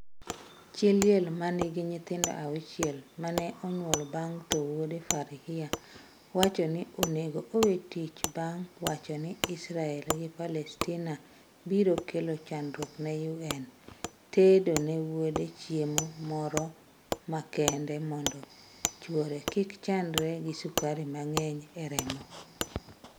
Chi liel ma nigi nyithindo 6 ma ne onyuolo bang' tho wuode Farhia wacho ni onego owe tich bang' wacho ni Israel gi Palestina biro kelo chandruok ne UN tedo ne wuode chiemo moro makende mondo chwore kik chandre gi sukari mang'eny e remo.